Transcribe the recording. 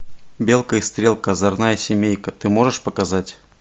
белка и стрелка озорная семейка ты можешь показать